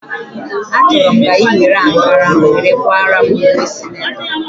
A chọrọ m ka ị were ankara were kwaara m ùwé sinetọ